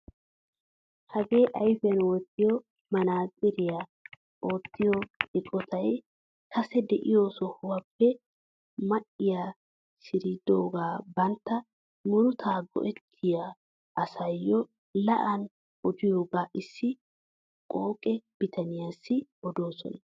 Hagee ayfiyaan wottiyoo manaatsiriyaa oottiyaa eqotay kase de'iyoo sohuwaappe ma"iyaa shiridoogaa bantta murutaa go"ettiyaa asayoo la'an odiyoogaa issi qooqe bitaniyaassi odoosona.